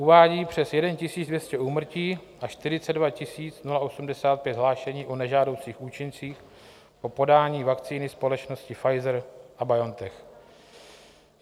Uvádí přes 1 200 úmrtí a 42 085 hlášení o nežádoucích účincích o podání vakcíny společnosti Pfizer a BioNTech.